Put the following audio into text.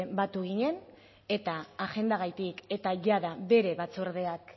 batu ginen eta agendagatik eta jada bere batzordeak